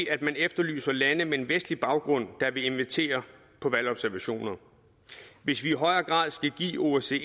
at man efterlyser lande med en vestlig baggrund der vil invitere på valgobservationer hvis vi i højere grad skal give osce